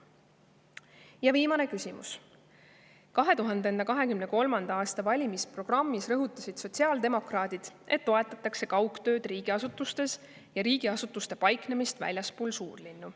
Ja viimane küsimus: "2023. aasta valimisprogrammis rõhutasid sotsiaaldemokraadid, et toetatakse kaugtööd riigiasutustes ja riigiasutuste paiknemist väljaspool suurlinnu.